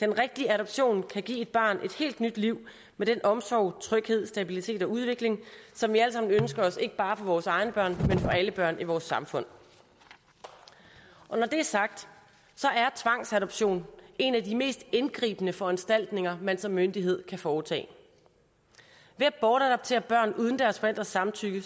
den rigtige adoption kan give et barn et helt nyt liv med den omsorg tryghed stabilitet og udvikling som vi alle sammen ønsker os ikke bare for vores egne børn men for alle børn i vores samfund når det er sagt er tvangsadoption en af de mest indgribende foranstaltninger man som myndighed kan foretage ved at bortadoptere børn uden deres forældres samtykke er